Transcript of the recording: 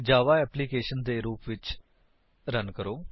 ਜਾਵਾ applications ਦੇ ਰੁਪ ਵਿੱਚ ਰਨ ਕਰੋ